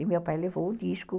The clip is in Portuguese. E meu pai levou o disco.